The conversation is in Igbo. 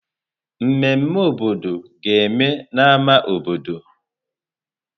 Mmeme obodo ga-eme na ámá obodo.